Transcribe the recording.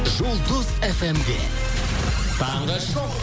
жұлдыз фмде таңғы шоу